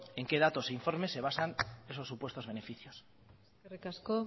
en qué datos e informes se basan esos supuestos beneficios eskerrik asko